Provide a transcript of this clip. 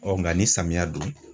nka ni samiya don na